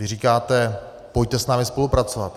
Vy říkáte: pojďte s námi spolupracovat.